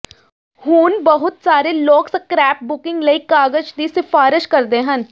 ਹੁਣ ਬਹੁਤ ਸਾਰੇ ਲੋਕ ਸਕ੍ਰੈਪਬੁਕਿੰਗ ਲਈ ਕਾਗਜ਼ ਦੀ ਸਿਫ਼ਾਰਸ਼ ਕਰਦੇ ਹਨ